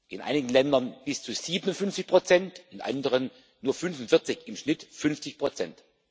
In einigen Ländern bis zu 57 in anderen nur 45 im Schnitt 50 Prozent.